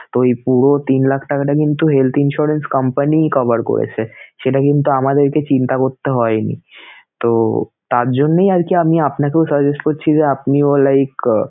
তো ঐ পুরো তিন লাখ টাকাটা কিন্তু health insurance company cover করেছে সেটা কিন্তু আমাদেরকে চিন্তা করতে হয়নিতো তার জন্যেই আরকি আমি আপনাকেও suggest করছি যে আপনিও like